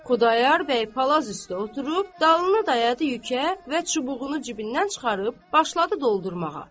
Xudayar bəy palaz üstə oturub, dalını dayadı yükə və çubuğunu cibindən çıxarıb, başladı doldurmağa.